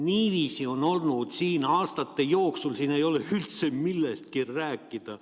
Niiviisi on siin aastate jooksul olnud, siin ei ole üldse millestki rääkida.